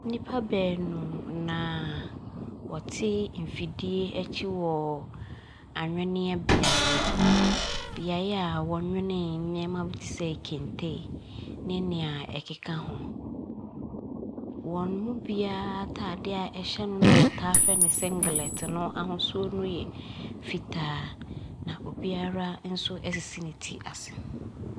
Nipa baanu na wɔte mfidie akyi wɔ anweneɛ beaeɛ. Beaeɛ a wɔnwene nneɛma bi tesɛ kente ne nea ɛkeka ho. Wɔnmu biaa ataadeɛ a ɛhyɛ no a yɛtaa frɛ no sɛ singlɛt no ahosuo no yɛ fitaa. Na obiaa nso asisi ne ti ase.